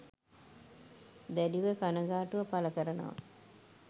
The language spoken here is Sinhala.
දැඩිව කනගාටුව පළ කරනවා